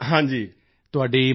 ਤੁਹਾਡੀ ਮਾਤਾ ਜੀ ਨੂੰ ਵੀ